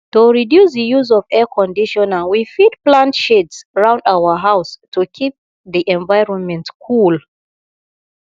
to reduce di use of air conditioner we fit plant shades round our house to keep di environment cool